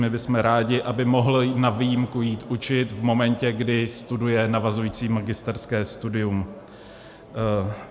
My bychom rádi, aby mohl na výjimku jít učit v momentě, kdy studuje navazující magisterské studium.